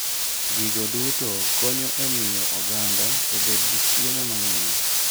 Gigo duto konyo e miyo oganda obed gi chiemo mang'eny.